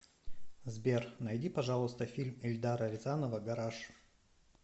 сбер найди пожалуйста фильм ильдара рязанова гараж